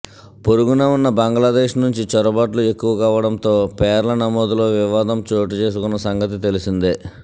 పొరుగున ఉన్న బంగ్లాదేశ్ నుంచి చొరబాట్లు ఎక్కువ కావడంతో పేర్ల నమోదులో వివాదం చోటు చేసుకొన్న సంగతి తెలిసిందే